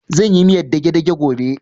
Zan yi miyar dage-dage gobe